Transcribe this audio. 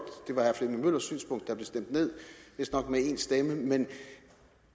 det var herre flemming møllers synspunkt der blev stemt ned vistnok med en stemme men